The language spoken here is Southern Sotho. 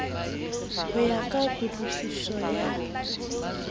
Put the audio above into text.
ho ya ka kutlwisiso ya